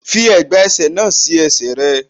Fi ẹ̀gbà ẹsẹ̀ náà sí ẹsẹ̀ rẹ.